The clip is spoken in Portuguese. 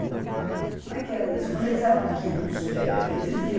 Como é que era isso, quando eles eram pequenos? Eh existia